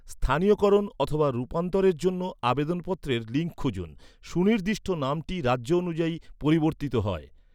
স্থানীয়করণ অথবা রূপান্তরের জন্য আবেদনপত্রের লিঙ্ক খুঁজুন, সুনির্দিষ্ট নামটি রাজ্য অনুযায়ী পরিবর্তিত হয়।